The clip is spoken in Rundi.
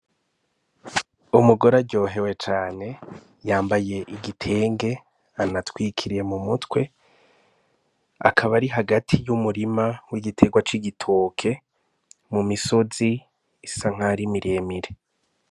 Umugore aryohewe cane yambaye igitenge anatwikiriye mu mutwe akaba ari hagati y'umurima w'igiterwa c'igitoke mu misozi isa nkarimiremire.